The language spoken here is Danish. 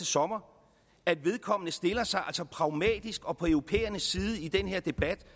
sommer at vedkommende stiller sig pragmatisk og på europæernes side i den her debat